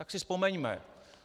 Tak si vzpomeňme.